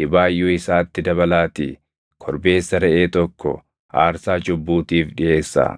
dhibaayyuu isaatti dabalaatii korbeessa reʼee tokko aarsaa cubbuutiif dhiʼeessaa.